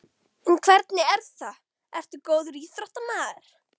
En hvernig er það, ertu góður íþróttamaður?